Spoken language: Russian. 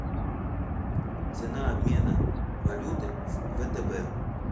цена обмена валюты в втб